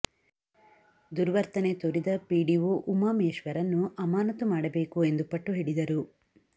ದುರ್ವತನೆ ತೋರಿದ ಪಿಡಿಒ ಉಮಾಮೇಶ್ವರ್ನ್ನು ಅಮಾನತು ಮಾಡಬೇಕು ಎಂದು ಪಟ್ಟು ಹಿಡಿದರು